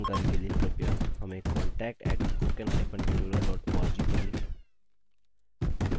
अधिक जानकारी के लिए कृपया हमें contact @spoken hyphen tutorial org पर लिखें